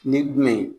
Ni jumɛn